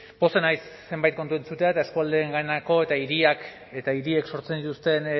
pozten naiz zenbait kontu entzuteaz eta eskualdeenganako eta hiriak eta hiriek sortzen dituzten